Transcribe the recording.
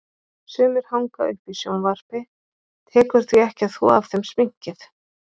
Sumir hanga uppi í sjónvarpi, tekur því ekki að þvo af þeim sminkið.